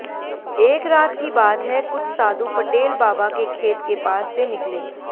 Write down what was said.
एक रात की बात है कुछ साधु पटेल बाबा के खेत के पास से निकले